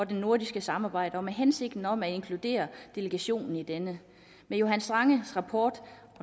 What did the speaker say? det nordiske samarbejde og med hensigten om at inkludere delegationen i denne johan strangs rapport